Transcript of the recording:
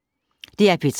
DR P3